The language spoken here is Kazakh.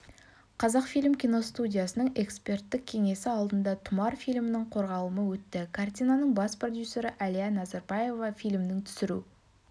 қазақфильм киностудиясының эксперттік кеңесі алдында тұмар фильмінің қорғалымы өтті картинаның бас продюсері әлия назарбаева фильмнің түсіру